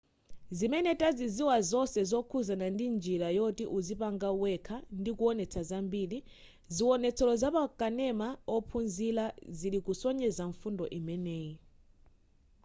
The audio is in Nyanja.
zimene taziziwa zonse zokhuzana ndi njira yoti uzipanga wekha ndikuwonetsa zambiri ziwonetsero za pakanema ophunzilira zikusonyeza mfundo imeneyi